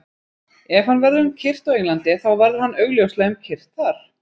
Ef hann verður um kyrrt á Englandi, þá verður hann augljóslega um kyrrt þar.